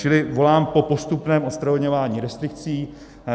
Čili volám po postupném odstraňování restrikcí.